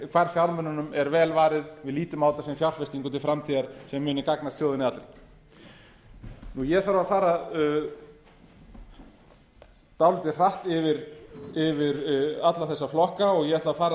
hvar fjármununum er vel varið við lítum á þetta sem fjárfestingu til framtíðar sem muni gagnast þjóðinni allri ég þarf að fara dálítið hratt yfir alla þessa flokka og ég ætla að fara